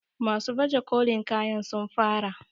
masu baje kolin kayan sun fara?